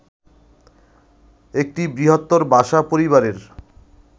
একটি বৃহত্তর ভাষা পরিবারের